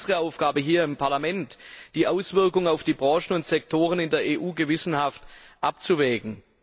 Es ist unsere Aufgabe hier im Parlament, die Auswirkungen auf die Branchen und Sektoren in der EU gewissenhaft abzuwägen.